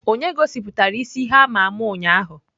Onye gosiputara isi ihe ama ama ụnyahụ?